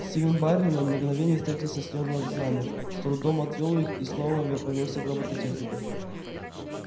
стивен байерли на мгновение встретился с ней глазами с трудом отвёл их и снова повернулся к робототехнику